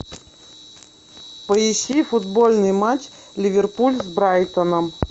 поищи футбольный матч ливерпуль с брайтоном